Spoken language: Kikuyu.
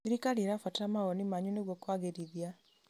Thirikari ĩrabatara mawoni manyu nĩguo kũagĩrithia.